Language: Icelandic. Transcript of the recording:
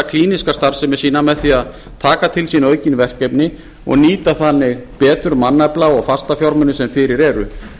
klíníska starfsemi sína með því að taka til sín aukin verkefni og nýta þannig betur mannafla og fastafjármuni sem fyrir eru